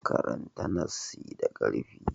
Karanta nassi da ƙarfi.